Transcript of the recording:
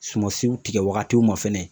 Sumansiw tigɛ wagatiw ma fɛnɛ.